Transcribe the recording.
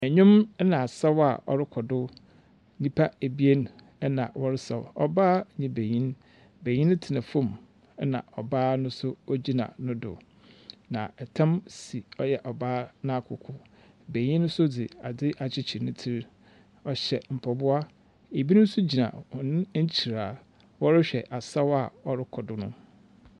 Nnwom na asaw a ɔrokɔ do. Nnipa ebien na wɔresaw; ɔbaa ne benyin. Benyin no tena fam, ɛnna ɔbaa no nso gyina no do. Na ɔtam si ɔyɛ ɔbaa no akoko. Benyin nso adze akyekyer ne tsir. Ɔhyɛ mpaboa. Ebinom nso gyinahɔn ekyir a wɔrehwɛ asaw a ɔrokɔ do no.